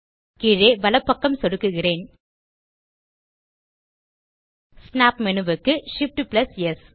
கீழே வலப்பக்கம் சொடுக்குகிறேன் ஸ்னாப் மேனு க்கு Shift ஆம்ப் ஸ்